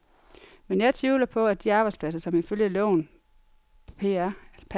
Men jeg tvivler på, at de arbejdspladser, som ifølge loven pr.